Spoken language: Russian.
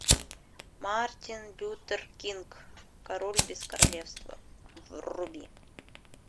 мартин лютер кинг король без королевства вруби